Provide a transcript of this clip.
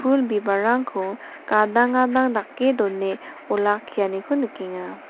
pul bibalrangko gadang gadang dake done olakkianiko nikenga.